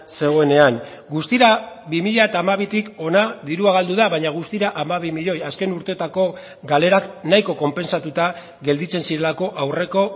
zegoenean guztira bi mila hamabitik hona dirua galdu da baina guztira hamabi milioi azken urteetako galerak nahiko konpentsatuta gelditzen zirelako aurreko